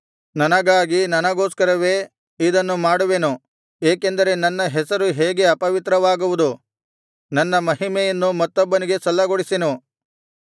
ನನಗಾಗಿ ನನಗೋಸ್ಕರವೇ ಇದನ್ನು ಮಾಡುವೆನು ಏಕೆಂದರೆ ನನ್ನ ಹೆಸರು ಹೇಗೆ ಅಪವಿತ್ರವಾಗುವುದು ನನ್ನ ಮಹಿಮೆಯನ್ನು ಮತ್ತೊಬ್ಬನಿಗೆ ಸಲ್ಲಗೊಡಿಸೆನು